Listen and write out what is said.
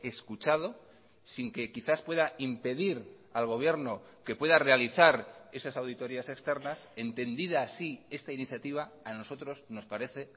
escuchado sin que quizás pueda impedir al gobierno que pueda realizar esas auditorías externas entendida así esta iniciativa a nosotros nos parece